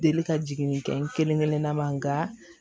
Deli ka jigin kɛ n kelen kelenna ma nka